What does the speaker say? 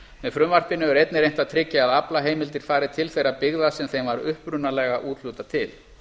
með frumvarpinu er einnig reynt að tryggja að aflaheimildir fari til þeirra byggða sem þeim var upprunalega úthlutað til